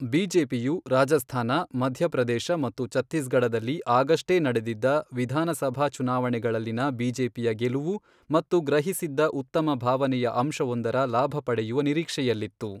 ಬಿಜೆಪಿಯು ರಾಜಸ್ಥಾನ, ಮಧ್ಯಪ್ರದೇಶ ಮತ್ತು ಛತ್ತೀಸ್ಗಢದಲ್ಲಿ ಆಗಷ್ಟೇ ನಡೆದಿದ್ದ ವಿಧಾನಸಭಾ ಚುನಾವಣೆಗಳಲ್ಲಿನ ಬಿಜೆಪಿಯ ಗೆಲುವು ಮತ್ತು ಗ್ರಹಿಸಿದ್ದ ಉತ್ತಮ ಭಾವನೆಯ ಅಂಶವೊಂದರ ಲಾಭ ಪಡೆಯುವ ನಿರೀಕ್ಷೆಯಲ್ಲಿತ್ತು.